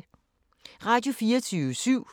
Radio24syv